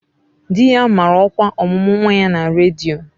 Di ya mara ọkwa ọmụmụ nwa ya na redio